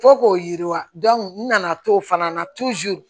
Fo k'o yiriwa n nana to fana na